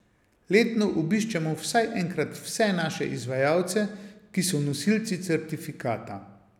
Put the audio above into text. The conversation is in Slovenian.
Letno obiščemo vsaj enkrat vse naše izvajalce, ki so nosilci certifikata.